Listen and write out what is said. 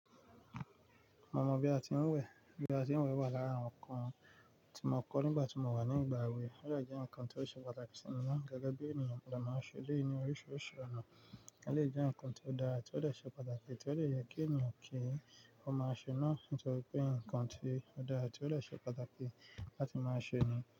Mo mọ bí a ti ń wẹ̀. Bí a ti ń wẹ̀ wà lára àwọn ǹkan tí mo kọ́ nígbà tí mo wà ní ìgbà èwe. Òje jẹ́ ǹkan tó ṣe pàtàkì sí mi naa gẹ́gẹ́ bí ènìyàn, mo jẹ máa ń ṣe eléyìí ní oríṣiríṣi ọ̀nà. Elèyi jẹ́ ǹkan tó dára ti ó jè ṣe pàtàkì ti ó lè yẹ kí ènìyàn kí ó máa ṣe náà nítorí pé ǹkan tí ó dára ti ó jè ṣe pàtàkì láti máa ṣe ni.